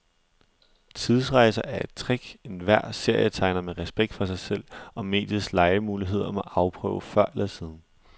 Tidsrejser er et trick, enhver serietegner med respekt for sig selv og mediets legemuligheder må afprøve før eller siden.